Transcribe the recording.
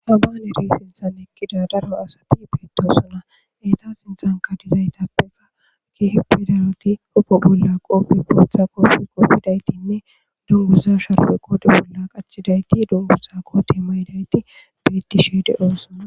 Habaneri sinthan ekkida daro asati beetosona eeta sinthan kadizaytappeka kihippidaroti hupo bolla qoppi bootha qooppi qooppidaytinne dunguza sharwe qoode bolla qachidayti dungu zaako te maydayti bettishe de'oosona.